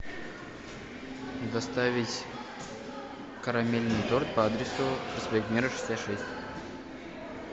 доставить карамельный торт по адресу проспект мира шестьдесят шесть